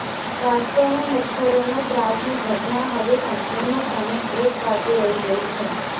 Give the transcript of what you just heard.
વાસ્તવમાં મચ્છરોનાં ત્રાસની ઘટના હવે સંપૂર્ણપણે એક બાજુ રહી ગઈ છે